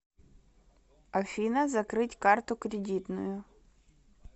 афина закрыть карту кредитную